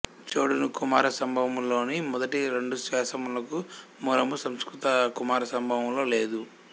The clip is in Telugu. చోడుని కుమార సంభవము లోని మొదటి రెండాశ్వాసములకు మూలము సంస్కృత కుమార సంభవములో లేదు